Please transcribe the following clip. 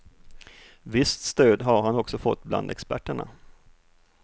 Visst stöd har han också fått bland experterna.